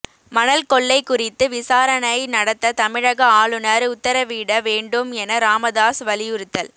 மணல் கொள்ளை குறித்து விசாரணை நடத்த தமிழக ஆளுநர் உத்தரவிட வேண்டும் என ராமதாஸ் வலியுறுத்தல்